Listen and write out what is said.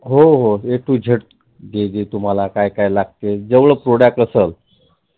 हो हो A to Z जे जे तुम्हाला काय काय लागलं तें जेवढंं product असल